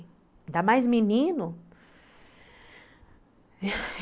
Ainda mais menino.